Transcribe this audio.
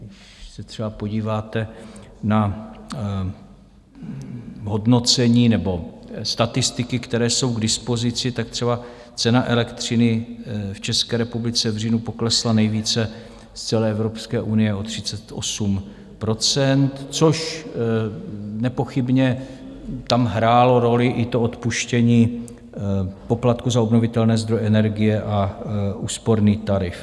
Když se třeba podíváte na hodnocení nebo statistiky, které jsou k dispozici, tak třeba cena elektřiny v České republice v říjnu poklesla nejvíce z celé Evropské unie, o 38 %, což nepochybně tam hrálo roli i odpuštění poplatku za obnovitelné zdroje energie a úsporný tarif.